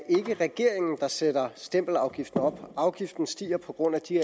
regeringen der sætter stempelafgiften op afgiften stiger på grund af de